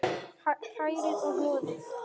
Hrærið og hnoðið.